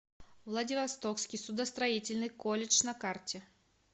владивостокский судостроительный колледж на карте